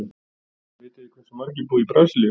Vitið þið hversu margir búa í Brasilíu?